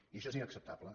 i això és inacceptable